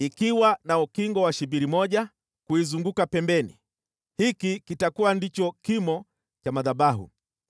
ikiwa na ukingo wa shibiri moja kuizunguka pembeni. Hiki kitakuwa ndicho kimo cha madhabahu: